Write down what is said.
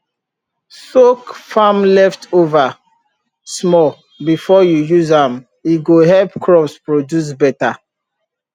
soak farm leftover small before you use am e go help crops produce better